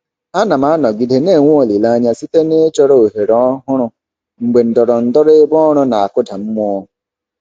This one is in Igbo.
Ana m anọgide na-enwe olileanya site n'ịchọ ohere ọhụrụ mgbe ndọrọndọrọ ebe ọrụ na-akụda mmụọ.